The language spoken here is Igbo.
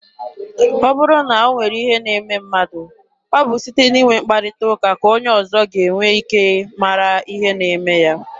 Ọ bụrụ na o nwere ihe na-eme mmadụ, ọ bụ site n'inwe mkparịta ụka ka onye ọzọ ga-enwe ike mara ihe na-eme ya.